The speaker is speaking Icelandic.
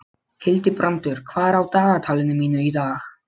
Hildibrandur, hvað er á dagatalinu mínu í dag?